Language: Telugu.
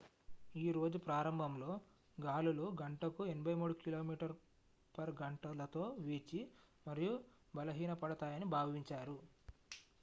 ఈ రోజు ప్రారంభంలో గాలులు గంటకు 83కి.మీ/గం. తో వీచి మరియు బలహీనపడతాయని భావించారు